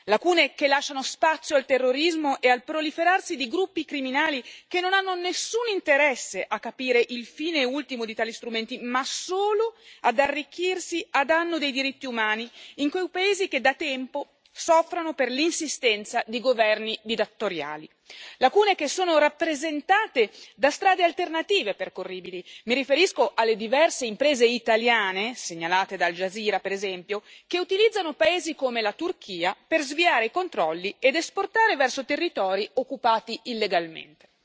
Lacune che lasciano spazio al terrorismo e al proliferare di gruppi criminali che non hanno nessun interesse a capire il fine ultimo di tali strumenti ma solo ad arricchirsi a danno dei diritti umani in quei paesi che, da tempo, soffrono per l'insistenza di governi dittatoriali. Lacune che sono rappresentate da strade alternative percorribili mi riferisco alle diverse imprese italiane, segnalate da Al Jazeera per esempio, che utilizzano paesi come la Turchia per sviare i controlli ed esportare verso territori occupati illegalmente.